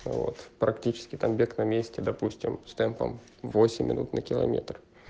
вот практически там бег на месте допустим с темпом восемь минут на километр